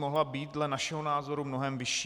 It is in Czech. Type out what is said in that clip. Mohla být dle našeho názoru mnohem vyšší.